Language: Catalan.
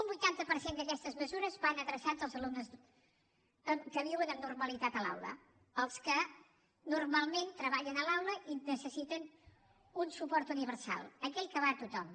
un vuitanta per cent d’aquestes mesures van adreçades als alumnes que viuen amb normalitat a l’aula als que normalment treballen a l’aula i necessiten un suport universal aquell que va a tothom